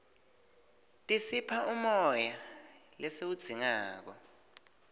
tisipha umoya lesiwudzingako